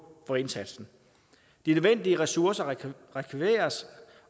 for indsatsen de nødvendige ressourcer rekvireres